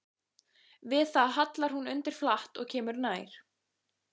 Við það hallar hún undir flatt og kemur nær.